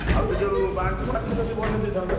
ଆଉ ସେ ଯୋଉ ବନେଇଦେଇଥାନ୍ତ।